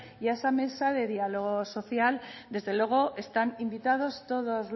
y esa mesa de diálogo social desde luego están invitados todos